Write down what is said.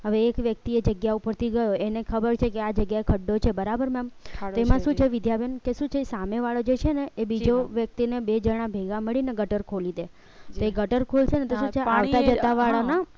હવે એક વ્યક્તિએ જગ્યા ઉપરથી ગયો એને ખબર છે કે આ જગ્યાએ ખાડો છે બરાબર છે ma'am તેમાં શું છે વિદ્યાબેન શું છે સામેવાળા જે છે ને એ બીજો વ્યક્તિને બે જણા ભેગા મળીને ગટર ખોલી દે તે ગટર ખુલશે તો શું છે આવત જતા વાળા ના